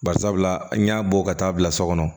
Bari sabula an y'a bɔ ka taa bila so kɔnɔ